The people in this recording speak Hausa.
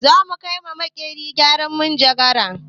Za mu kai wa makerin gyaran manjagara